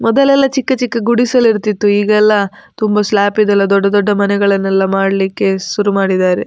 ಮೊದಲೆಲ್ಲ ಚಿಕ್ಕ ಚಿಕ್ಕ ಗುಡಿಸಲು ಇರ್ತಿತ್ತು ಈಗೆಲ್ಲ ತುಂಬ ಸ್ಲಾಪಿದೆಲ್ಲ ದೊಡ್ಡ ದೊಡ್ಡ ಮನೆಗಳನ್ನೆಲ್ಲ ಮಾಡ್ಲಿಕ್ಕೆ ಸುರು ಮಾಡಿದ್ದಾರೆ.